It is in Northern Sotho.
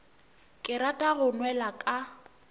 ke rata go nwela ka